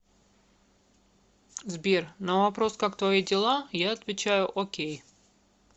сбер на вопрос как твои дела я отвечаю окей